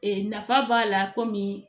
Ee nafa b'a la kɔmi